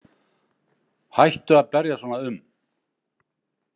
Hættu að berjast svona um.